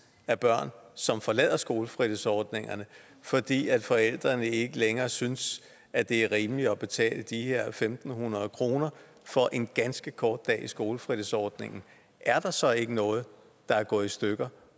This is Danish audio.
af børn som forlader skolefritidsordningerne fordi forældrene ikke længere synes at det er rimeligt at betale de her en tusind fem hundrede kroner for en ganske kort dag i skolefritidsordningen er der så ikke noget der er gået i stykker